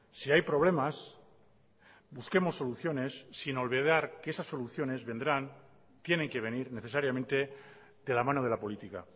si hay problemas busquemos soluciones sin olvidar que esas soluciones vendrán tienen que venir necesariamente de la mano de la política